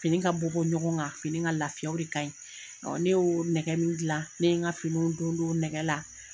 Fini ka bɔ bɔ ɲɔgɔn kan fini ka laafiya o de ka ɲi ne y'o nɛgɛ min gilan ne ye n ka finiw don don nɛgɛ la.